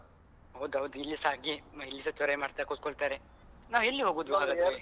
ಹೌದೌದು, ಇಲ್ಲಿಸ ಹಾಗೆಯೆ ಇಲ್ಲಿಸ ಚೊರೆ ಮಾಡ್ತಾ ಕೂತ್ಕೊಳ್ತಾರೆ. ನಾವು ಎಲ್ಲಿ ಹೋಗುದು ಹಾಗಾದ್ರೆ.